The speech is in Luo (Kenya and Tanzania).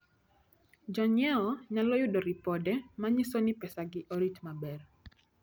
Jonyiewo nyalo yudo ripode manyiso ni pesagi orit maber.